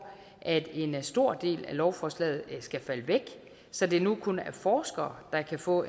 at en stor del af lovforslaget skal falde væk så det nu kun er forskere der kan få